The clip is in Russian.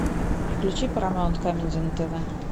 включи парамаунт камеди на тв